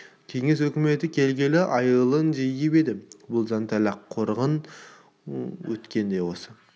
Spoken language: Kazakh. кеңес өкіметі келгелі айылын жиып еді де бұл зәнталақтың қорлығы өткен де осы